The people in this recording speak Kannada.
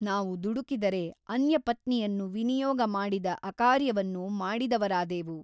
ನಾವು ದುಡುಕಿದರೆ ಅನ್ಯಪತ್ನಿಯನ್ನು ವಿನಿಯೋಗ ಮಾಡಿದ ಅಕಾರ್ಯವನ್ನು ಮಾಡಿದವರಾದೇವು.